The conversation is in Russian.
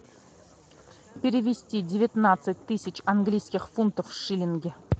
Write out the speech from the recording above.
перевести девятнадцать тысяч английских фунтов в шиллинги